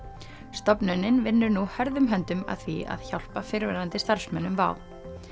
stofnunin vinnur nú hörðum höndum að því að hjálpa fyrrverandi starfsmönnum WOW